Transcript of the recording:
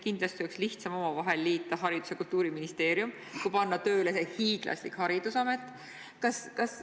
Kindlasti oleks lihtsam omavahel liita Haridus- ja Teadusministeerium ja Kultuuriministeerium kui panna tööle see hiiglaslik Haridusamet.